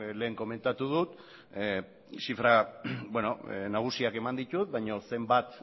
lehen komentatu dut zifra nagusiak eman ditut baino zenbat